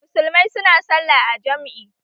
Musulmai su na sallah a jam'i